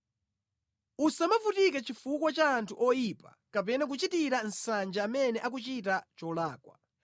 Usamavutike chifukwa cha anthu oyipa kapena kuchitira nsanje amene akuchita cholakwa;